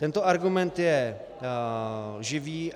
Tento argument je lživý.